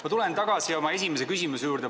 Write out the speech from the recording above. Ma tulen tagasi oma esimese küsimuse juurde.